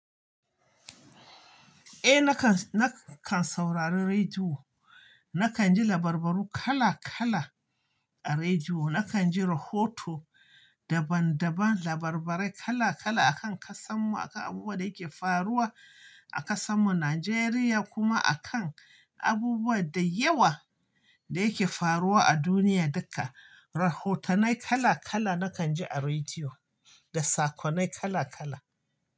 Eh nakan, nakan saurari rediyo. Nakan ji labarbaru kala kala a rediyo. Nakan ji rahoto daban daban, labarbarai kala kala akan ƙasan mu, akan abubuwa da yake faruwa a ƙasan mu Najeriya kuma akan abubuwa da yawa da yake faruwa a duniya duka. Rahotonai kala kala nakan ji a rediyo da sakonai kala kala.